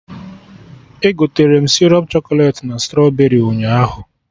Egoterem sịrọp chọkọlet na strọberị ụnyaahụ